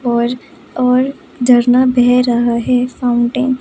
और और झरना बह रहा है फाउंटेन ।